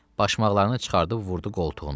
Başmaqlarını çıxarıb vurdu qoltuğuna.